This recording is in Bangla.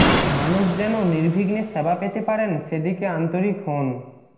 মানুষ যেন নির্বিঘ্নে সেবা পেতে পারেন সেদিকে আন্তরিক হউন